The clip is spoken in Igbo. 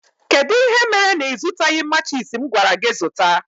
Kedụ ihe mere na ịzụtaghi matchis m gwara gị zụta?